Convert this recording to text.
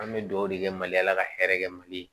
An bɛ dugawu de kɛ maliyala ka hɛrɛ kɛ mali la